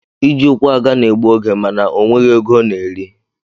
Iji ụkwụ aga na egbu oge mana onweghi ego ọna eri.